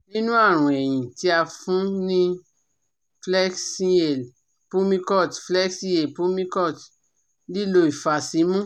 Nini arun ehin ,ti a fun ni flexhale pulmicort, flexhale pulmicort, lilo ifasimu